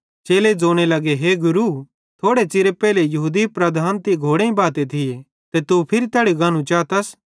चेले ज़ोने लगे हे गुरू थोड़े च़िर पेइले यहूदी लीडर तीं घोड़ेईं बाते थिये ते तू फिरी तैड़ी गानू चातस